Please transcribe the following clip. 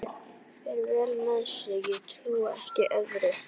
Fer vel með sig, ég trúi ekki öðru.